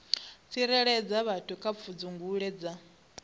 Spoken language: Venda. tsireledza vhathu kha pfudzungule dza